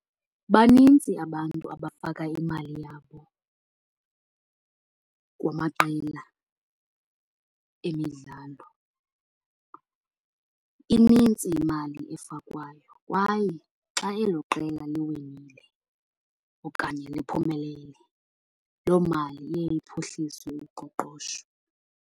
Banintsi abantu abafaka imali yabo kumaqela emidlalo. Inintsi imali efakwayo kwaye xa elo qela liwinile okanye liphumelele loo mali iye iphuhlise uqoqosho.